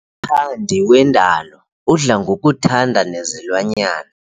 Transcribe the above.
mthandi wendalo udla ngokuthanda nezilwanyana.